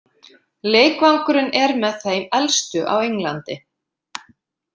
Leikvangurinn er með þeim elstu á Englandi.